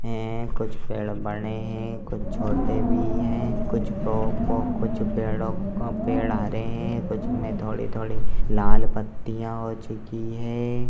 है कुछ पेड़ बड़े है कुछ छोटे भी है कुछ पो-पो कुछ पेड़ों का पेड़ हरे है कुछ मे थोड़ी-थोड़ी लाल पत्तियां हो चुकी है।